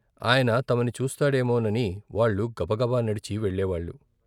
ఆయన తమని చూస్తాడేమో నని వాళ్ళు గబగబా నడిచి వెళ్ళేవాళ్ళు.